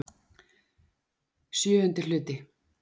VII Hluti